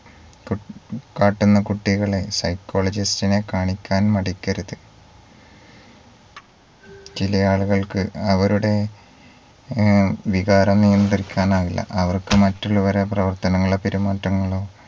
കു കാട്ടുന്ന കുട്ടികളെ psychologist നെ കാണിക്കാൻ മടിക്കരുത് ചിലയാളുകൾക്ക് അവരുടെ ഏർ വികാരം നിയന്ത്രിക്കാനാകില്ല അവർക്ക് മറ്റുള്ളവരെ പ്രവർത്തനങ്ങളോ പെരുമാറ്റങ്ങളോ